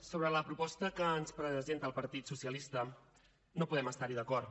sobre la proposta que ens presenta el partit socialista no podem estar hi d’acord